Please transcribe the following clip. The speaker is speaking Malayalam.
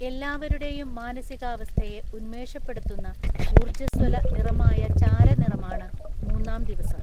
എല്ലാവരുടെയും മാനസികാവസ്ഥയെ ഉന്മേഷപ്പെടുത്തുന്ന, ഊര്‍ജ്ജസ്വല നിറമായ ചാര നിറമാണ് മൂന്നാം ദിവസം.